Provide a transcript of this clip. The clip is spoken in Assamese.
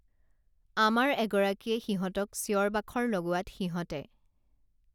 আমাৰ এগৰাকীয়ে সিহঁতক চিঁঞৰ বাখৰ লগোৱাত সিহঁতে